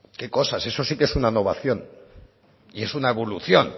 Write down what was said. qué cosas eso sí que es una innovación y es una evolución